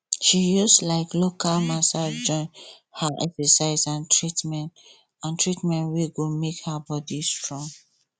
she use um local massage join her excercise and treatment and treatment wey go make her body strong